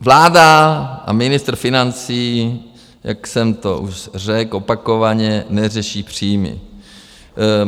Vláda a ministr financí, jak jsem to už řekl opakovaně, neřeší příjmy.